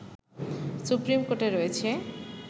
supreme কোর্টে রয়েছে